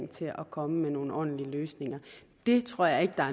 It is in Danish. til at komme med nogle ordentlige løsninger det tror jeg ikke